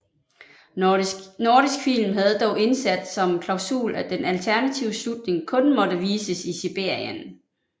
Nordisk Film havde dog indsat som klausul at den alternative slutning kun måtte vises i Sibirien